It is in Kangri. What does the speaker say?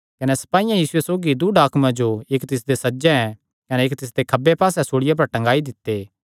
कने सपाईयां यीशु सौगी दूँ डाकुआं जो इक्क तिसदे सज्जे कने इक्क तिसदे खब्बे पास्से सूल़िया पर टंगाई दित्ते